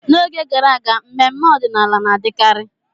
N'oge gara aga, mmemme ọdịnala na-adịkarị.